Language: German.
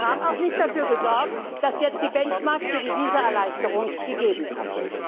Und sie haben auch nicht dafür gesorgt, dass jetzt die Benchmarks für die Visaerleichterung gegeben sind.